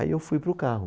Aí eu fui para o carro.